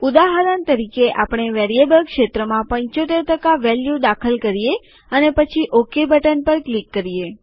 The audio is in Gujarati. ઉદાહરણ તરીકે આપણે વેરિયેબલ ક્ષેત્રમાં ૭૫ વેલ્યુ દાખલ કરીએ અને પછી ઓકે બટન પર ક્લિક કરીએ